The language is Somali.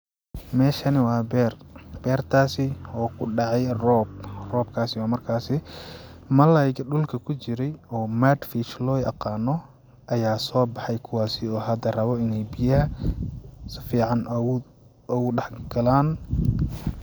Meshani waa beer beertasi oo kudhacay roob robkaasi oo markasi malaygi dhulka kujiray oo mud fish loo aqaano ayaa sobaxay kuwaasi oo hada rabo inay biyaha sifacan oogu dhax galaan.